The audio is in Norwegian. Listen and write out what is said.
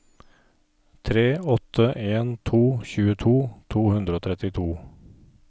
tre åtte en to tjueto to hundre og trettito